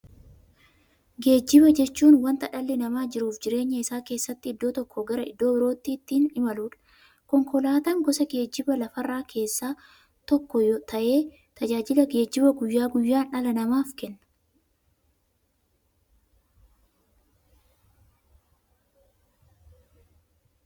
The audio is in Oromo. Geejjiba jechuun wanta dhalli namaa jiruuf jireenya isaa keessatti iddoo tokkoo gara iddoo birootti ittiin imaluudha. Konkolaatan gosa geejjibaa lafarraa keessaa tokko ta'ee, tajaajila geejjibaa guyyaa guyyaan dhala namaaf kenna.